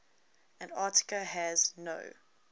antarctica has no